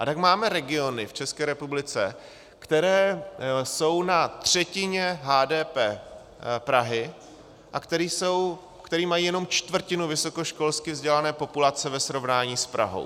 A tak máme regiony v České republice, které jsou na třetině HDP Prahy a které mají jenom čtvrtinu vysokoškolsky vzdělané populace ve srovnání s Prahou.